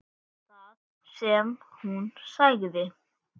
Það sem hún sagði